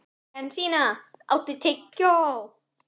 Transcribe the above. Jensína, áttu tyggjó?